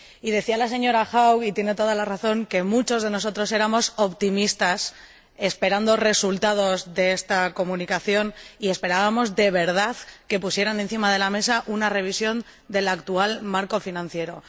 Decía la señora Haug —y tiene toda la razón— que muchos de nosotros éramos optimistas esperando resultados de esta Comunicación, y esperábamos, de verdad, que pusieran encima de la mesa una revisión del actual marco financiero.